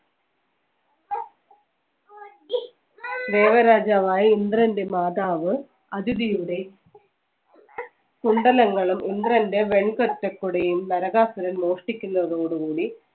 ദേവരാജാവായ ഇന്ദ്രന്റെ മാതാവ് അതിഥിയുടെ കുണ്ഡലങ്ങളും ഇന്ദ്രന്റെ വെൺ തറ്റ കൊടിയും നരകാസുരൻ മോഷ്ടിക്കുന്നതോടുകൂടി